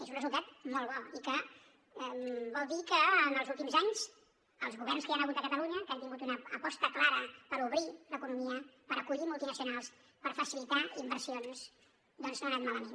és un resultat molt bo i que vol dir que en els últims anys els governs que hi han hagut a catalunya que han tingut una aposta clara per obrir l’economia per acollir multinacionals per facilitar inversions doncs no han anat malament